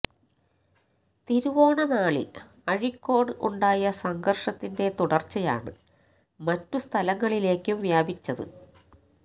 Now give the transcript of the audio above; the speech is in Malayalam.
തിരുവോണ നാളിൽ അഴീക്കോട് ഉണ്ടായ സംഘർഷത്തിന്റെ തുടർച്ചയാണ് മറ്റു സ്ഥലങ്ങളിലേക്കും വ്യാപിച്ചത്